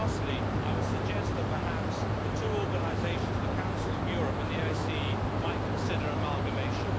Lastly, I would suggest that perhaps the two organisations the Council of Europe and the OSCE consider amalgamation.